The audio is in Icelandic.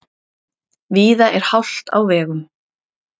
Víða er hált á vegum